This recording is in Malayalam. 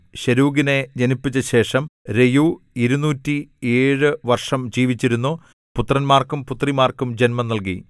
ശെരൂഗിനെ ജനിപ്പിച്ച ശേഷം രെയൂ ഇരുനൂറ്റിഏഴ് വർഷം ജീവിച്ചിരുന്നു പുത്രന്മാർക്കും പുത്രിമാർക്കും ജന്മം നൽകി